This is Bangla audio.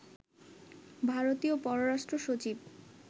ভারতীয় পররাষ্ট্র সচিব